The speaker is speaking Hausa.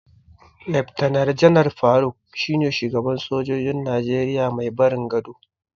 Laftanar Janar Faruk shine shugaban sojojin Najeriya mai barin gado.